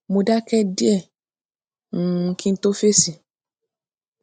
mo dáké díè um kí n n tó fèsì